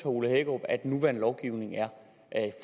ole hækkerup at den nuværende lovgivning er